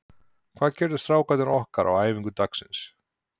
Hvað gerðu strákarnir okkar á æfingu dagsins?